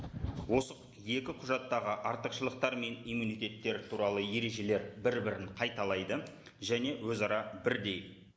осы екі құжаттағы артықшылықтар мен иммунитеттер туралы ережелер бір бірін қайталайды және өзара бірдей